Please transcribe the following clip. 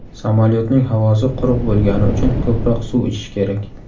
Samolyotning havosi quruq bo‘lgani uchun ko‘proq suv ichish kerak.